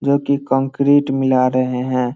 जो की कंक्रीट मिला रहे हैं।